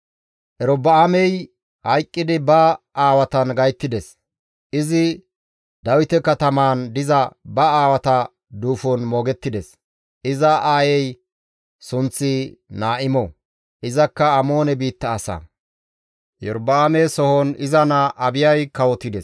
Erobi7aamey hayqqidi ba aawatan gayttides; izi Dawite katamaan diza ba aawata duufon moogettides. Iza aayey sunththi Naa7imo; izakka Amoone biitta asa. Erobi7aame sohon izi naa Abiyay kawotides.